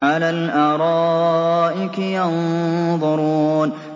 عَلَى الْأَرَائِكِ يَنظُرُونَ